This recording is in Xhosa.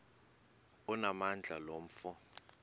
onamandla lo mfo